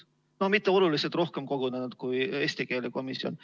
No ei ole mitte oluliselt rohkem kogunenud kui eesti keele komisjon.